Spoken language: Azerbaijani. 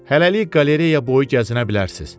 Hələlik qalereya boyu gəzinə bilərsiniz.